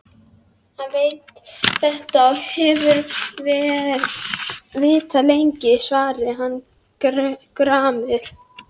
Hann veit þetta og hefur vitað lengi, svaraði hann gramur.